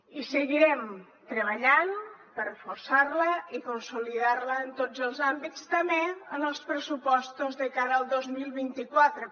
i seguirem treballant per reforçar la i consolidar la en tots els àmbits també en els pressupostos de cara al dos mil vint quatre